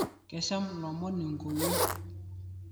Kesham lomoni nkuwuo